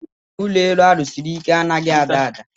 Ụlọ elu a rụsiri ike a naghị ada ada.